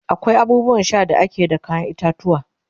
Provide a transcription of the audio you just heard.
akwai abubuwan Sha da akeyi da kayan itatuwwa